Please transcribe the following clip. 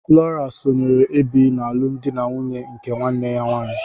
Flora sonyeere Ebi n'alụmdi na nwunye nke nwanne ya nwanyị.